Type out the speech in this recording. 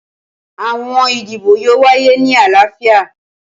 Awọn idibo yoo waye ni alaafia.